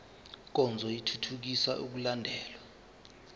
nkonzo ithuthukisa ukulandelwa